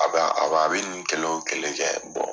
A bɛ a wa be nunnu kelen wo kelen kɛ ,